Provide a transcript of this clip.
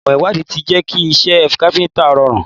Ìmò ìwádìí ti jẹ́ kí iṣẹ́ káfíntà rọrùn.